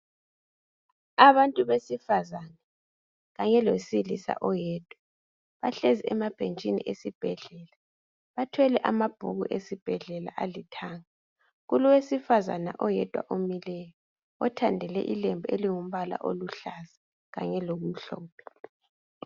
Abantu besifazana kanye lowesilisa oyedwa, bahlezi emabhentshini esibhedlela bathwele amabhuku esibhedlela alithanga. Kulowesifazana oyedwa omileyo othandele ilembu elingumbala oluhlaza kanye lokumhlophe.